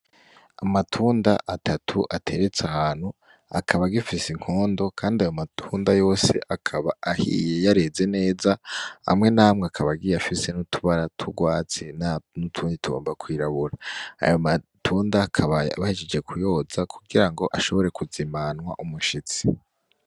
Amatunda atatu ateretse ahantu akaba agifise inkondo kandi ayomatunda yose akaba ahiye yareze neza, amwe namwe akaba agiye afise n'utubara t'ugwatsi, n'utundi tugomba kwirabura. Ayo matunda akaba bahejeje kuyoza kugirango ashobore kuzimanwa umushitsi.